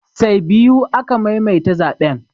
Say biyu aka maimaita zaɓen